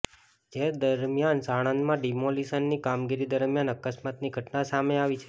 જે દરમિયાન સાણંદમાં ડિમોલિશનની કામગીરી દરમિયાન અકસ્માતની ઘટના સામે આવી છે